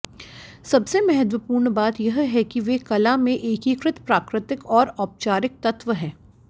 सबसे महत्वपूर्ण बात यह है कि वे कला में एकीकृत प्राकृतिक और औपचारिक तत्व हैं